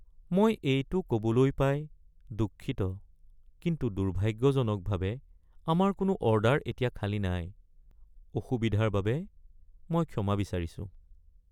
মই এইটো ক'বলৈ পাই দুঃখিত, কিন্তু দুৰ্ভাগ্যজনকভাৱে, আমাৰ কোনো অৰ্ডাৰ এতিয়া খালী নাই। অসুবিধাৰ বাবে মই ক্ষমা বিচাৰিছোঁ।